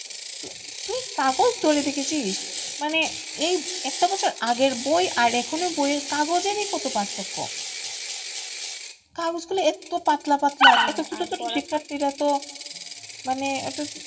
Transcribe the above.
কাগজ ধরে দেখেছিস মানে একটা বছর আগের বই আর এখনকার বইয়ের কাগজেরই কত পার্থক্য কাগজ গুলো একদম পাতলা পাতলা তো মানে ওটা,